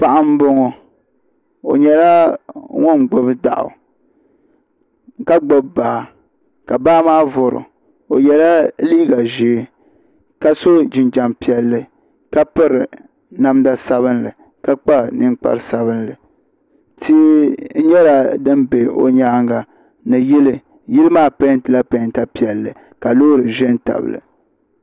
Paɣa n bɔŋɔ o nyɛla ŋun gbubi daɣu ka gbubi baa ka baa maa voro o ye la liiga zɛɛ ka so jinjam piɛlli ka piri namda sabinli ka kpa ninkpara sabinli tia nyɛla dini bɛ o yɛanga ni yili maa pɛinti la pɛnta piɛlli ka loori zɛ n tabi li.